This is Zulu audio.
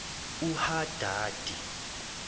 uhadadi